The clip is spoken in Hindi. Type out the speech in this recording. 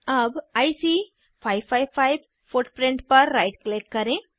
अब आईसी 555 फुटप्रिंट पर राइट क्लिक करें